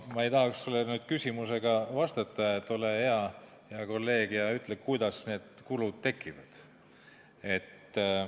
Ma ei tahaks sulle küsimusega vastata, et ole hea, kolleeg, ja ütle, kuidas need kulud tekivad.